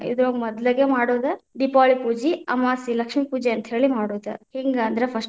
ಇದರೊಳಗೆ ಮೊದ್ಲೇಗೆ ಮಾಡೋದ ದೀಪಾವಳಿ ಪೂಜೀ, ಅಮಾಸ್ಯ ಲಕ್ಷ್ಮೀಪೂಜೆ ಅಂತ ಹೇಳಿ ಮಾಡೋದ, ಹೆಂಗ ಅಂದ್ರ first .